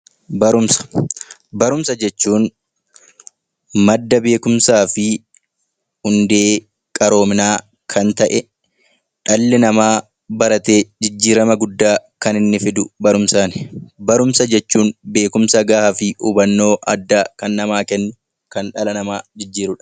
Barumsa Barumsa jechuun madda beekumsaa fi hundee qaroominaa kan ta'e, dhalli namaa baratee jijjiirama guddaa kan inni fidu, barumsaani. Barumsa jechuun gaafa hubannoo dhala namaaf kennuun jijjiirudha.